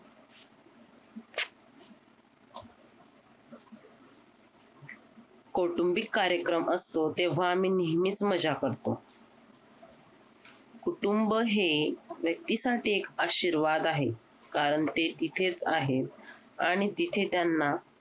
कौटुंबिक कार्यक्रम असतो तेव्हा आम्ही नेहमीच मज्जा करतो कुटुंब हे व्यक्तीसाठी एक आशीर्वाद आहे कारण ते इथेच आहे आणि तिथे त्यांना